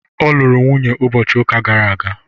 ọ lụrụ nwunye ụbọchị ụka gara aga